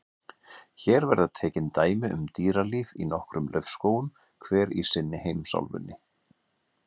Hér verða tekin dæmi um dýralíf í nokkrum laufskógum, hver í sinni heimsálfunni.